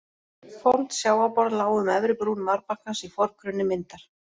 Fornt sjávarborð lá um efri brún marbakkans í forgrunni myndar.